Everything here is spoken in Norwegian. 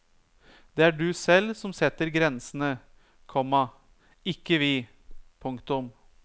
Det er du selv som setter grensene, komma ikke vi. punktum